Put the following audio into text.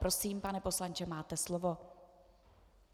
Prosím, pane poslanče, máte slovo.